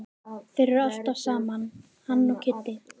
Þeir eru alltaf saman hann og Kiddi.